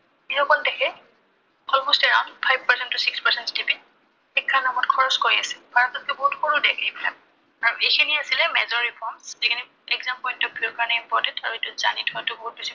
যিসকল দেশে almost around five percent to six percent GDP শিক্ষাৰ নামত খৰচ কৰি আছে। ভাৰততকৈ বহুত সৰু দেশ এইবিলাক। আৰু এইখিনিয়েই আছিলে major reforms যিখিনি exam ৰ কাৰণে important হয়। আৰু এইটো জানি থোৱাটো বহুত বেছি